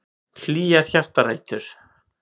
Hlýjar hjartarætur.